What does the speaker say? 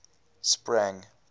sprang